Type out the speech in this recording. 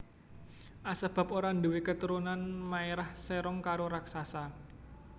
Asebab ora ndhuwe keturunan maerah serong karo raksasa